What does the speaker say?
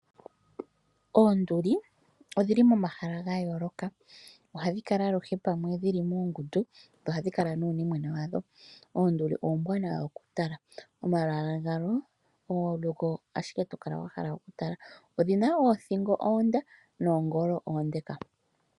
Oonduli odhili momahala ga yooloka. Ohadhi kala aluhe pamwe dhili muungundu, dho ohadhi kala nuunimwena wadho. Oonduli oombwaanawa okutala, omalwaala gawo ogo ashike tokala wahala okutala. Odhina oothingo oonde, noongolo oonde.